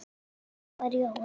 Þannig var Jói.